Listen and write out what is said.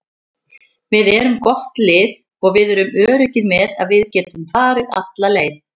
Við erum gott lið og við erum öruggir með að við getum farið alla leið.